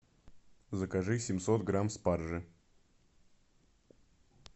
закажи семьсот грамм спаржи